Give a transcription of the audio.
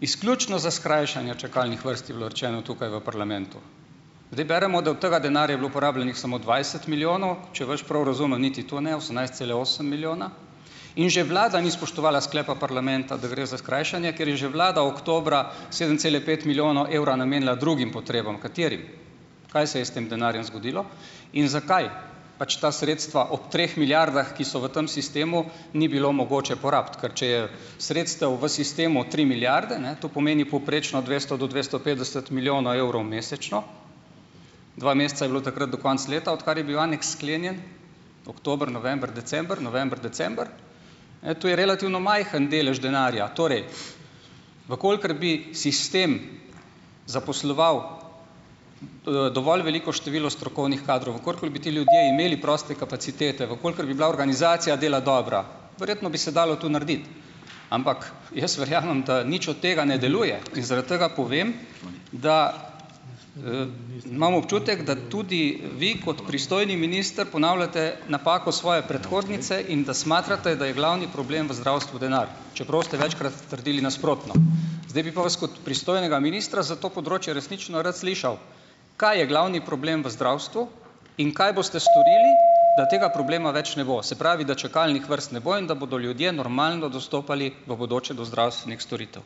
izključno za skrajšanja čakalnih vrst, je bilo rečeno tukaj v parlamentu. Zdaj beremo, da od tega denarja je bilo porabljenih samo dvajset milijonov. Če vas prav razumem, niti to ne, osemnajst cele osem milijona. In že vlada ni spoštovala sklepa parlamenta, da gre za skrajšanje, ker je že vlada oktobra sedem cela pet milijonov evra namenila drugim potrebam. Katerim? Kaj se je s tem denarjem zgodilo? In zakaj pač ta sredstva ob treh milijardah, ki so v tam sistemu, ni bilo mogoče porabiti? Ker če je sredstev v sistemu tri milijarde, ne, to pomeni povprečno od dvesto do dvesto petdeset milijonov evrov mesečno, dva meseca je bilo takrat do konca leta, odkar je bil aneks sklenjen, oktober, november, december, november, december, ne, to je relativno majhen delež denarja. Torej, v kolikor bi sistem zaposloval, dovolj veliko število strokovnih kadrov, v kolikor bi ti ljudje imeli proste kapacitete, v kolikor bi bila organizacija dela dobra, verjetno bi se dalo to narediti. Ampak jaz verjamem, da nič od tega ne deluje in zaradi tega povem, da, imam občutek, da tudi vi kot pristojni minister ponavljate napako svoje predhodnice in da smatrate, da je glavni problem v zdravstvu denar, čeprav ste večkrat trdili nasprotno . Zdaj bi pa vas kot pristojnega ministra za to področje resnično rad slišal, kaj je glavni problem v zdravstvu. In kaj boste storili, da tega problema več ne bo? Se pravi, da čakalnih vrst ne bo in da bodo ljudje normalno dostopali v bodoče do zdravstvenih storitev?